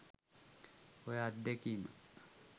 ඔය අත්දැකිම